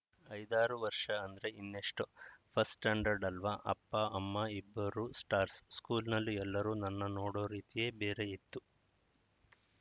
ಐದಾರು ವರ್ಷ ಅಂದ್ರೆ ಇನ್ನೇಷ್ಟೂ ಫಸ್ಟ್‌ ಸ್ಟಾಂಡರ್ಡ್‌ ಅಲ್ವಾ ಅಪ್ಪಅಮ್ಮ ಇಬ್ಬರೂ ಸ್ಟಾರ್ಸ್‌ ಸ್ಕೂಲ್‌ನಲ್ಲಿ ಎಲ್ಲರೂ ನನ್ನ ನೋಡೋ ರೀತಿಯೇ ಬೇರೆ ಇತ್ತು